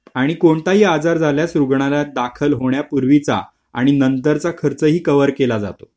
आणि कोणताही आजार झाल्यास रुग्णालयात दाखल होण्यापूर्वी चा आणि नंतर चा खर्चही कवर केला जातो